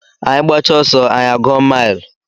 Anyị gbachaa ọsọ anyị a gụọ mile